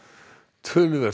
töluvert